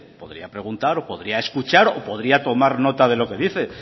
podría preguntar o podría escuchar o podría tomar nota de lo que dice